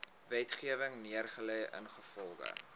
wetgewing neergelê ingevolge